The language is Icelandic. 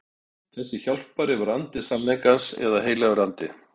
Þessi hjálpari var andi sannleikans eða heilagur andi.